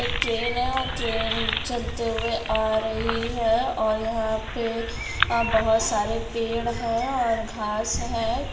एक ट्रेन है और ट्रेन चलते हुए आ रही है और यहां पे बहोत सारे पेड़ हैं और घास है।